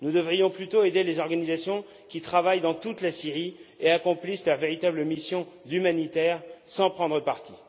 Nous devrions plutôt aider les organisations qui travaillent dans toute la Syrie et accomplissent leur véritable mission humanitaire sans prendre parti.